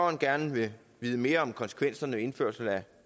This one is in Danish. gerne vil vide mere om konsekvenserne indførelse af